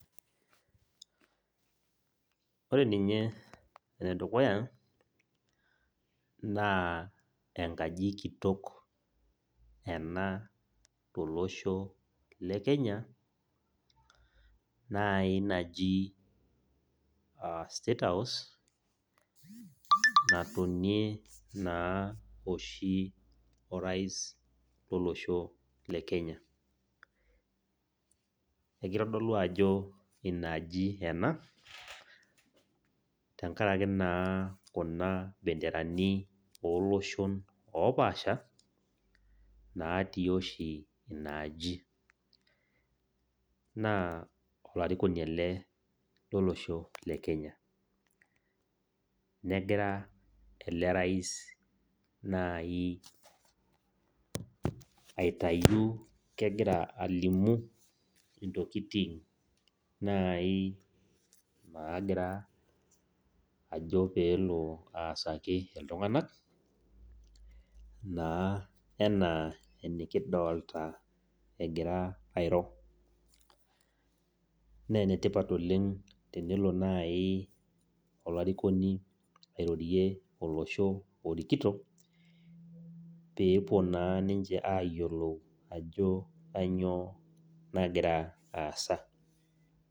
Ore ninye naa ore enedukuya naa enkaji kitok ena tolosho lekenya nai naji state house natonie oshi orais lolosho lekenya . Ekitodolu ajo inaaji ena tenkaraki impenderani oloshon opasha natii oshi inaaji , naa olarikoni ele lolosho lekenya , negira elelrais nai kegira alimu ntokitin nagira alo pelo aasaki iltunganak naa enaa enikidolta egira airo . Naa enetipat tenelo nai olarikoni airorie olosho orikito pepuo naa ayiolou ajo kainyioo nagira aasa.